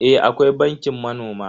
Eh akwai bankin manoma.